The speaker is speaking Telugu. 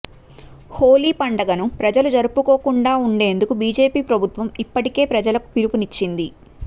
హోళీ పండుగను ప్రజలు జరుపుకోకుండా ఉండేందుకు బీజేపీ ప్రభుత్వం ఇప్పటికే ప్రజలకు పిలుపునిచ్చింది